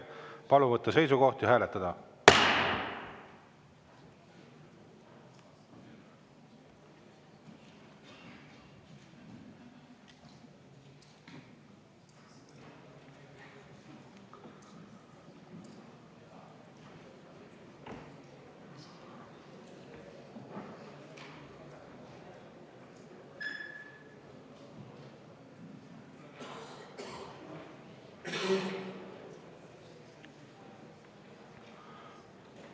Palun võtta seisukoht ja hääletada!